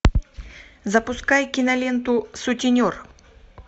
запускай киноленту сутенер